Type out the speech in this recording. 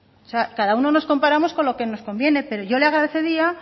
o sea cada uno nos comparamos con lo que nos conviene pero yo le agradecería